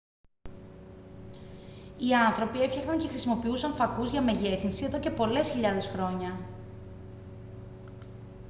οι άνθρωποι έφτιαχναν και χρησιμοποιούσαν φακούς για μεγέθυνση εδώ και πολλές χιλιάδες χρόνια